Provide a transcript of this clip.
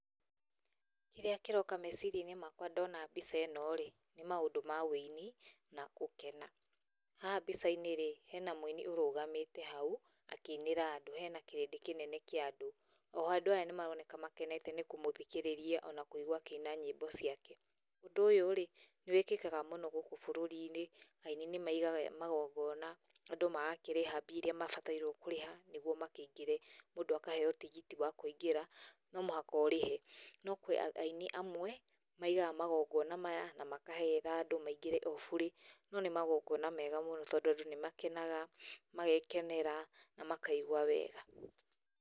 Kĩrĩa kĩroka meciria-inĩ makwa ndona mbica ĩno-rĩ nĩ maũndũ ma wĩini na gũkena. Haha mbica-inĩ rĩ hena mũini ũrũgamĩte haũ akĩinĩra andũ, hena kĩrĩndĩ kĩnene kĩa andũ , o ho andũ aya nĩmaroneka makenete nĩ kũmũthikĩrĩria ona kũigua akĩina nyĩmbo ciake. Ũndũ ũyũ-rĩ, nĩwĩkĩkaga mũno gũkũ bũrũri-inĩ, aini nĩ maigaga magongona andũ magakĩrĩha mbia iria mabatairwo kũrĩha nĩguo makĩingĩre, mũndũ akaheyo tigiti wa kũingĩra, no mũhaka ũrĩhe. No kũrĩ aini amwe maigaga magongona maya na makahera andũ maingĩre o burĩ. No nĩ magongona mega mũno, tondũ andũ nĩ makenaga, magekenera na makaigua wega.